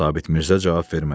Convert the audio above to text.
Sabit Mirzə cavab vermədi.